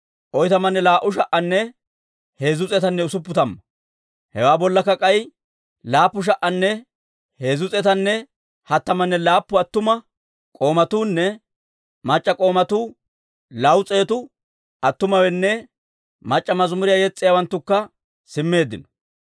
Hewaa bollakka k'ay 7,337 attuma k'oomatuunne mac'c'a k'oomatuunne 200 attumawaanne mac'c'a mazimuriyaa yes's'iyaawanttukka simmeeddino.